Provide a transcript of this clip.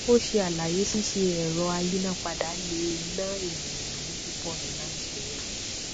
o ṣe àlàyé ṣíṣe ẹrọ ayínápadà le è nà ènìyàn lówó pupọ ní nàìjíría